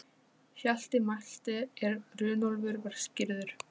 Rangar fallbeygingar nánast brottrekstrarsök úr skóla.